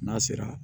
N'a sera